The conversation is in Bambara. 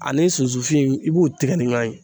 Ani sunsun fin i b'u tigɛ ni ɲuanɲɛ.